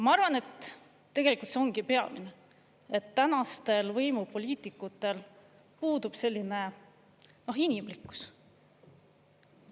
Ma arvan, et tegelikult see ongi peamine, et tänastel võimupoliitikutel puudub inimlikkus.